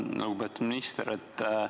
Lugupeetud minister!